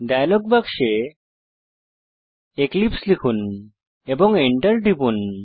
dialogue বাক্সে এক্লিপসে লিখুন এবং Enter টিপুন